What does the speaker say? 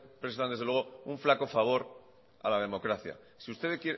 prestan un flaco favor a la democracia